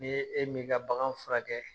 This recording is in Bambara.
N'e min ka bagan furakɛ.